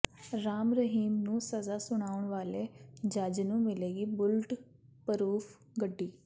ਰਾਮ ਰਹੀਮ ਨੂੰ ਸਜ਼ਾ ਸੁਣਾਉਣ ਵਾਲੇ ਜੱਜ ਨੂੰ ਮਿਲੇਗੀ ਬੁਲਟ ਪਰੂਫ ਗੱਡੀ